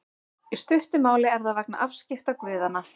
Í stuttu máli er það vegna afskipta guðanna.